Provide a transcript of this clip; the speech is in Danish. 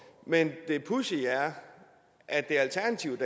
men det pudsige er at det er alternativet